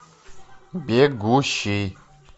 бегущий